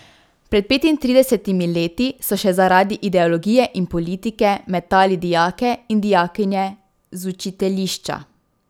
Pred petintridesetimi leti so še zaradi ideologije in politike metali dijake in dijakinje z učiteljišča.